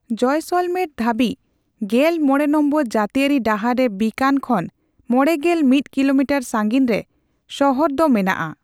ᱡᱚᱭᱞᱥᱚᱢᱮᱨ ᱫᱷᱟᱵᱤᱡ ᱑᱕ ᱱᱚᱝ ᱡᱟᱛᱤᱭᱟᱨᱤ ᱰᱟᱦᱟᱨ ᱨᱮ ᱵᱤᱠᱟᱱ ᱠᱷᱚᱱ ᱢᱚᱲᱮᱜᱮᱞ ᱢᱤᱛ ᱠᱤᱞᱳᱢᱤᱴᱟᱨ ᱥᱟᱹᱜᱤᱧ ᱨᱮ ᱥᱚᱦᱚᱨ ᱫᱚ ᱢᱮᱱᱟᱜ ᱟ ᱾